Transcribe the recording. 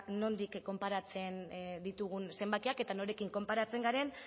nondik konparatzen ditugun zenbakiak eta norekin konparatzen garen